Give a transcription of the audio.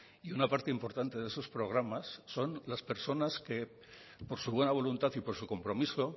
y una parte importante de sus programas son las personas que por su buena voluntad y por su compromiso